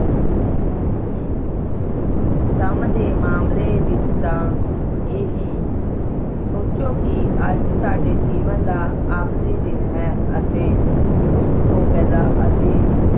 ਕੰਮ ਦੇ ਮਾਮਲੇ ਵਿਚ ਤਾਂ ਇਹੀ ਸੋਚੋ ਕਿ ਅੱਜ ਸਾਡੇ ਜੀਵਨ ਦਾ ਆਖਰੀ ਦਿਨ ਹੈ ਅਤੇ ਉਸ ਤੋਂ ਪਹਿਲਾਂ ਅਸੀਂ